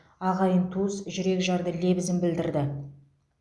ағайын туыс жүрек жарды лебізін білдірді